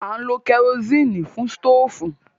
À ń lo kẹrosíìnì fún sítòfù.